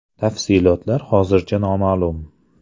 Tafsilotlar hozircha noma’lum.